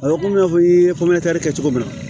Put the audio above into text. A bɛ komi i n'a fɔ i ye kɛ cogo min na